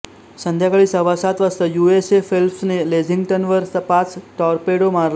संध्याकाळी सव्वासात वाजता यु एस एस फेल्प्सने लेक्झिंग्टनवर पाच टॉरपेडो मारले